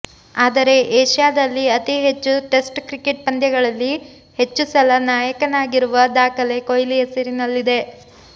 ಆದರೆ ಏಷ್ಯಾದಲ್ಲಿ ಅತಿ ಹೆಚ್ಚು ಟೆಸ್ಟ್ ಕ್ರಿಕೆಟ್ ಪಂದ್ಯಗಳಲ್ಲಿ ಹೆಚ್ಚು ಸಲ ನಾಯಕನಾಗಿರುವ ದಾಖಲೆ ಕೊಹ್ಲಿ ಹೆಸರಿನಲ್ಲಿದೆ